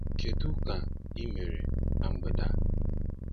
Kedu ka ị mere na mgbede a?